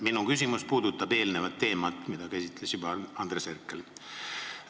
Minu küsimus puudutab teemat, mida juba käsitles Andres Herkel.